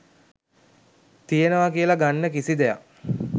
තියෙනවා කියල ගන්න කිසි දෙයක්